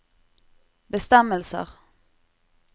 bestemmelser